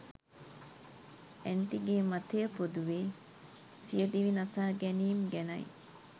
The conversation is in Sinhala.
ඇන්ටි ගේ මතය පොදුවේ සිය දිවිනසා ගැනීම් ගැනයි.